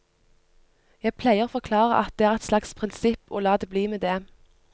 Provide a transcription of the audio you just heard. Jeg pleier å forklare at det er et slags prinsipp, og la det bli med det.